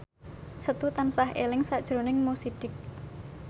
Setu tansah eling sakjroning Mo Sidik